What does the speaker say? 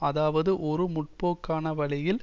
அதாவது ஒரு முற்போக்கான வழியில்